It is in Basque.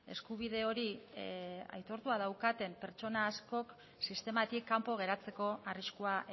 eskubide hori aitortua daukaten pertsona askok sistematik kanpo geratzeko arriskua